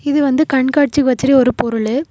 இது வந்து கண்காட்சிக்கு வச்சிருக்க ஒரு பொருளு.